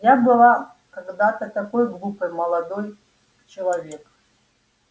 я была когда-то такой глупой молодой человек